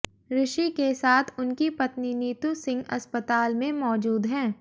ऋषि के साथ उनकी पत्नी नीतू सिंह अस्पताल में मौजूद हैं